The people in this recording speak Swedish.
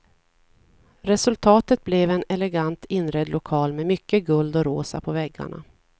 Resultatet blev en elegant inredd lokal med mycket guld och rosa på väggarna.